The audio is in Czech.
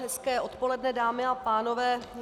Hezké odpoledne, dámy a pánové.